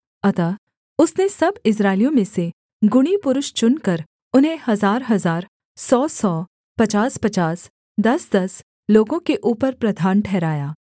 अतः उसने सब इस्राएलियों में से गुणी पुरुष चुनकर उन्हें हजारहजार सौसौ पचासपचास दसदस लोगों के ऊपर प्रधान ठहराया